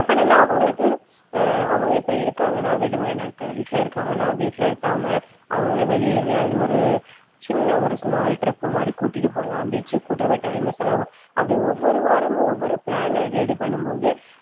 என்ன பண்ணணும்ன்னா அவங்களுக்கு அஹ் அவங்க இப்ப இருக்காங்கன்னா விடுமுறை நாட்கள் வீட்டுல இருக்காங்கன்னா வீட்டுல இருக்காம அவங்களை வெளியே எங்கயாவது ஒரு சின்ன ஒரு small trip மாதிரி கூட்டிட்டு போலாம் beach க்கு கூட்டிட்டு போயி time அ செலவு அப்படி ஒவ்வொரு வாரமும் ஒவ்வொரு plan அ ready பண்ணும் போது,